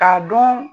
K'a dɔn